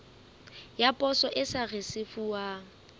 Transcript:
ya poso e sa risefuwang